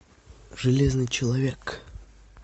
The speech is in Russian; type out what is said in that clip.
железный человек